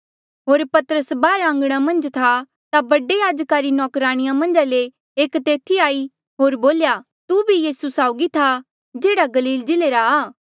होर पतरस बाहर आंघणा मन्झ था ता बडे याजका री नौकराणिया मन्झा ले एक तेथी आई होर बोल्या तू भी यीसू साउगी था जेहड़ा गलील जिल्ले रा आ